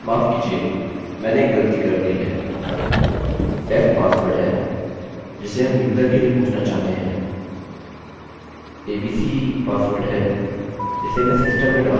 माफ कीजिए मैंने एक गलती कर दी है def पासवर्ड है जिसे हम यूजर के लिए पूछना चाहते हैं abc पासवर्ड है जिसे मैं सिस्टम में डाल रहा हूँ